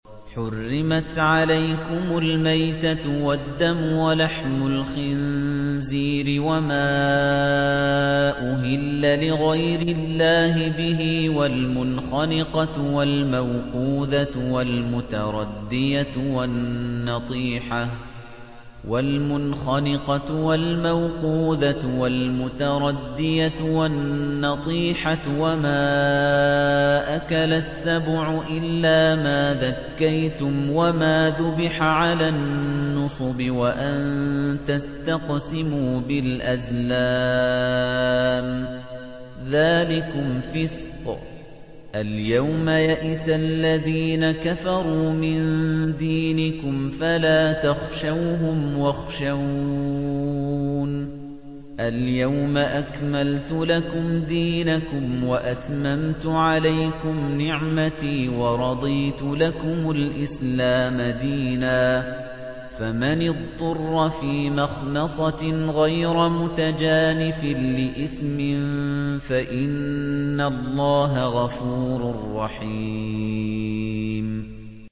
حُرِّمَتْ عَلَيْكُمُ الْمَيْتَةُ وَالدَّمُ وَلَحْمُ الْخِنزِيرِ وَمَا أُهِلَّ لِغَيْرِ اللَّهِ بِهِ وَالْمُنْخَنِقَةُ وَالْمَوْقُوذَةُ وَالْمُتَرَدِّيَةُ وَالنَّطِيحَةُ وَمَا أَكَلَ السَّبُعُ إِلَّا مَا ذَكَّيْتُمْ وَمَا ذُبِحَ عَلَى النُّصُبِ وَأَن تَسْتَقْسِمُوا بِالْأَزْلَامِ ۚ ذَٰلِكُمْ فِسْقٌ ۗ الْيَوْمَ يَئِسَ الَّذِينَ كَفَرُوا مِن دِينِكُمْ فَلَا تَخْشَوْهُمْ وَاخْشَوْنِ ۚ الْيَوْمَ أَكْمَلْتُ لَكُمْ دِينَكُمْ وَأَتْمَمْتُ عَلَيْكُمْ نِعْمَتِي وَرَضِيتُ لَكُمُ الْإِسْلَامَ دِينًا ۚ فَمَنِ اضْطُرَّ فِي مَخْمَصَةٍ غَيْرَ مُتَجَانِفٍ لِّإِثْمٍ ۙ فَإِنَّ اللَّهَ غَفُورٌ رَّحِيمٌ